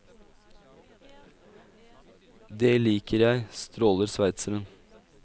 Det liker jeg, stråler sveitseren.